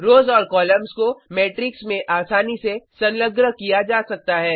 रोज़ और कॉलम्स को मेट्रिक्स में आसानी से संलग्न किया जा सकता है